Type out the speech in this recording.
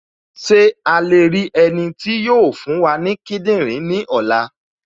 Ṣé a lè rí ẹni tí yóò fún wa ní kíndìnrín ní ọ̀la?